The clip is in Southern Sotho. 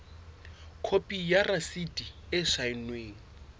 khopi ya rasiti e saennweng